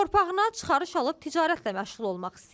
Torpağına çıxarış alıb ticarətlə məşğul olmaq istəyir.